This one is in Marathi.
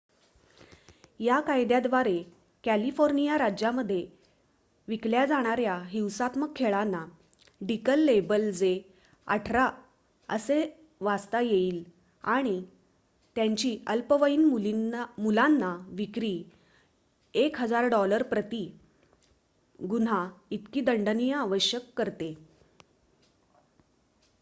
"या कायद्या द्वारे कॅलिफोर्निया राज्यामध्ये विकल्या जाणाऱ्या हिंसात्मक खेळांना डीकल लेबल जे "18" असे वाचता येईल आणि त्यांची अल्पवयीन मुलांना विक्री $1000 प्रती गुन्हा इतकी दंडनीय आवश्यक करते.